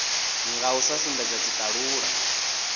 nga u sa sumbedza tshitalula